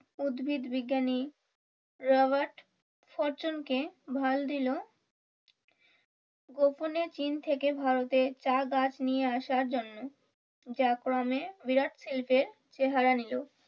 উদ্ভদবিজ্ঞানী Robert ফর্চুনকে ভার দিলো গোপনে চীন থেকে ভারতে চা গাছ নিয়ে আসার জন্য যা ক্রমে বিরাট শিল্পের চেহারা নিলো।